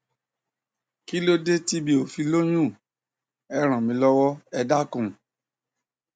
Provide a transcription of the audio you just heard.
kílódé tí mi ò fi lóyún ẹ ràn mí lọwọ ẹ dákun